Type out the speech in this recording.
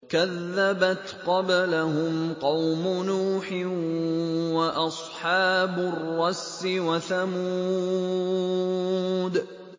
كَذَّبَتْ قَبْلَهُمْ قَوْمُ نُوحٍ وَأَصْحَابُ الرَّسِّ وَثَمُودُ